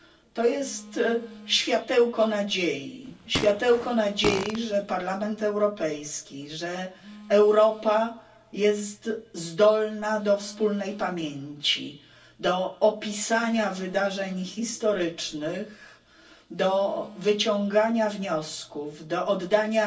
To jest światełko nadziei, że Parlament Europejski, że Europa jest zdolna do wspólnej pamięci, do opisania wydarzeń historycznych, do wyciągania wniosków, do oddania